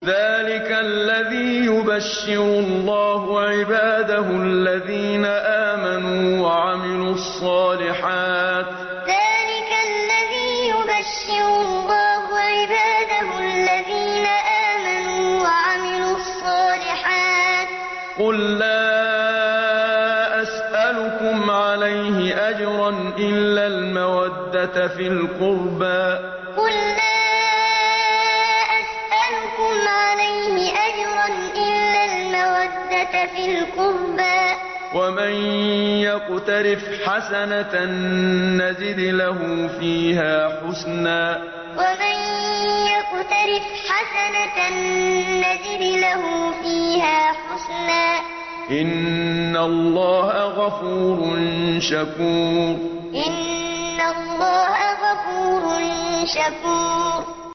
ذَٰلِكَ الَّذِي يُبَشِّرُ اللَّهُ عِبَادَهُ الَّذِينَ آمَنُوا وَعَمِلُوا الصَّالِحَاتِ ۗ قُل لَّا أَسْأَلُكُمْ عَلَيْهِ أَجْرًا إِلَّا الْمَوَدَّةَ فِي الْقُرْبَىٰ ۗ وَمَن يَقْتَرِفْ حَسَنَةً نَّزِدْ لَهُ فِيهَا حُسْنًا ۚ إِنَّ اللَّهَ غَفُورٌ شَكُورٌ ذَٰلِكَ الَّذِي يُبَشِّرُ اللَّهُ عِبَادَهُ الَّذِينَ آمَنُوا وَعَمِلُوا الصَّالِحَاتِ ۗ قُل لَّا أَسْأَلُكُمْ عَلَيْهِ أَجْرًا إِلَّا الْمَوَدَّةَ فِي الْقُرْبَىٰ ۗ وَمَن يَقْتَرِفْ حَسَنَةً نَّزِدْ لَهُ فِيهَا حُسْنًا ۚ إِنَّ اللَّهَ غَفُورٌ شَكُورٌ